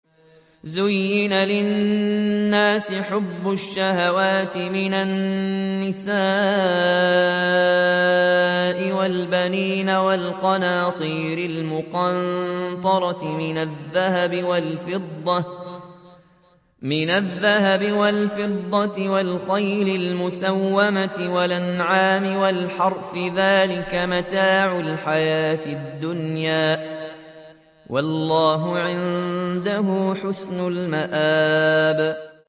زُيِّنَ لِلنَّاسِ حُبُّ الشَّهَوَاتِ مِنَ النِّسَاءِ وَالْبَنِينَ وَالْقَنَاطِيرِ الْمُقَنطَرَةِ مِنَ الذَّهَبِ وَالْفِضَّةِ وَالْخَيْلِ الْمُسَوَّمَةِ وَالْأَنْعَامِ وَالْحَرْثِ ۗ ذَٰلِكَ مَتَاعُ الْحَيَاةِ الدُّنْيَا ۖ وَاللَّهُ عِندَهُ حُسْنُ الْمَآبِ